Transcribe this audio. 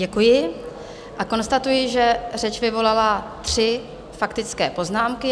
Děkuji a konstatuji, že řeč vyvolala tři faktické poznámky.